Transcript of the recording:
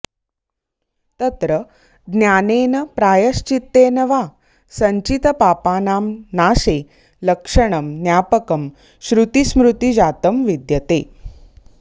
तत्र ज्ञानेन प्रायश्चित्तेन वा संचितपापानां नाशे लक्षणं ज्ञापकं श्रुतिस्मृतिजातं विद्यते